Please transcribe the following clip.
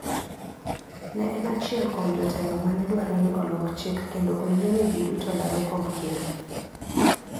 Ne en achiel kuom jotelo manedwaro ni olok chik kendo oyiene jiduto laro komb ker.